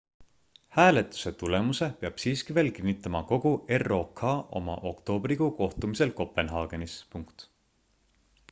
hääletuse tulemuse peab siiski veel kinnitama kogu rok oma oktoobrikuu kohtumisel kopenhaagenis